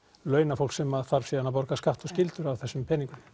launafólk sem þarf síðan að borga skatt og skyldur af þessum peningum